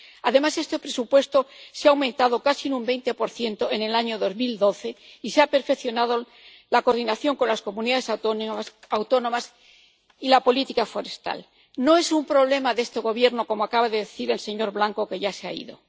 Además, este presupuesto se ha aumentado casi en un 20 en el año 2012, y se ha perfeccionado la coordinación con las comunidades autónomas y la política forestal. No es un problema de este Gobierno, como acaba de decir el señor Blanco —que ya se ha ido—.